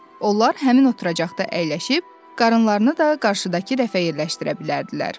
Onlar həmin oturacaqda əyləşib, qarınılarını da qarşıdakı rəfə yerləşdirə bilərdilər.